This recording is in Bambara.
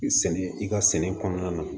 Sɛnɛ i ka sɛnɛ kɔnɔna na